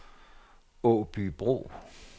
Aabybro